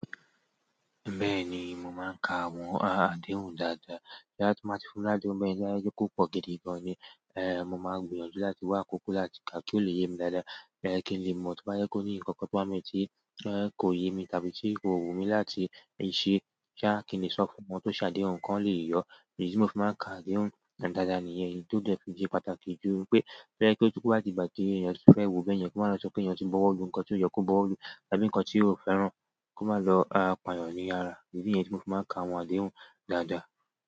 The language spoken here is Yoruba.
Bẹ́ẹ̀ni, mo máa ń kà àwọn àdéhùn dáadáa. Bóyá tí wọ́n bá ti fún mi ladehun báyi, mo má jẹ́ kó pọ̀ gidi gan ni. Mo máa gbìyànjú láti wà àkókò láti kà kí ó lè yé mi dáadáa. Kin lè mo bóyá kò ni nkankan tí kò yé mu tàbí ti kò wù mii láti ṣe. Kin lè sọ fún kí wọ́n lè yọ ìdí tíì mo fi máa ń kà àdéhùn dáadáa nìyẹn. Èyí tó dé tún ṣe pàtàkì jù lọ nípé, tó bá di ìgbà tí èyàn tíì fẹ́ wo báyẹn kò má lọ di pé èyàn ti buu owó lùú ǹkan tí kò yẹ kìí èyàn bo wow lu. Tàbí ǹkan tí èyàn kò fẹ́ràn kó má lọ pàyàn ní ara. Ìdí nìyẹn tí mo fi máa ń kà àwọn àdéhùn dáadáa.